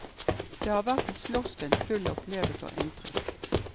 Det har vært et slottsdøgn fullt av opplevelser og inntrykk.